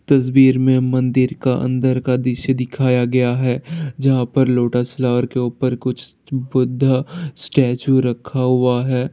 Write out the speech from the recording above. तस्वीर में मंदिर का अंदर का दृश्य दिखाया गया है जहाँ पे लोटस फ्लावर के ऊपर कुछ बुद्धा स्टेचू रखा हुआ है।